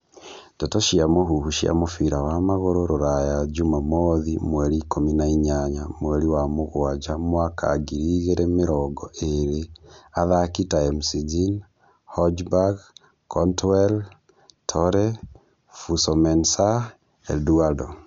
Ndeto cia mũhuhu cia mũbira wa magũrũ Rũraya juma mothi mweri ikũmi na inyanya mweri wa mũgwanja mwaka ngiri igĩrĩ mĩrongo ĩrĩ athaki ta McGinn, Hojbjerg, Cantwell, Torre, Fosu-Mensah, Eduardo